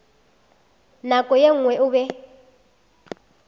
nako ye nngwe o be